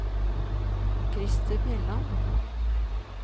Krister Bjelland